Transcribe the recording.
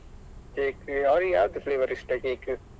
Cake ಅವ್ಳಿಗೆ ಯಾವುದು flavour ಇಷ್ಟ cake ?